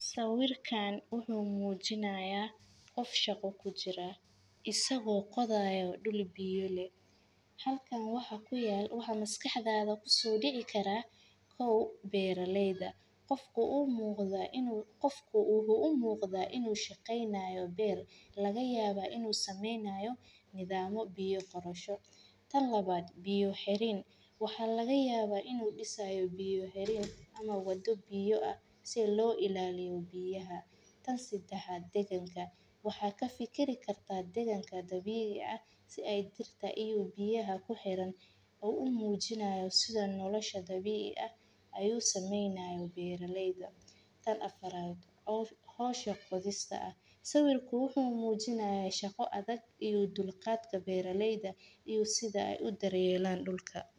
Sawirkaan wuxuu muujinayaa qof shaqo ku jira isagoo qodaya dul biyo leh. Halkaan waxaa ku yaal u hamaskaxdaada ku soo dhici kara kow beeraleyda. Qofku uu muuqda inuu qofku uu u muuqda inuu shaqeynaayo beer laga yaaba inuu sameynayo nidaamo biyo qorsho. Tan labaad biyo xerin. Waxaa laga yaabaa inuu dhisayo biyo xerin ama waddo biyo ah si loo ilaaliyay biyaha. Tan sidaxa deganka waxaa ka fikir kartaa deganka dabiic ah si ay dirta iyo biyaha ku xiran u muujinaya sida nolosha dabiic ah ayuu sameynayo beeraleyda. Tan afar aad hooshoo qodista ah sawirku wuxuu muujinayay shaqo adag iyo dulqaadka beeraleyda iyo sida ay u daryeelaan dhulka.